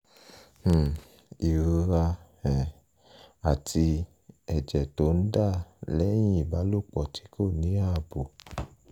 um ìrora um àti ẹ̀jẹ̀ tó ń dà lẹ́yìn ìbálòpọ̀ tí kò ní ààbò